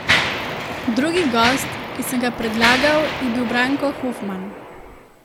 Drugi gost, ki sem ga predlagal, je bil Branko Hofman.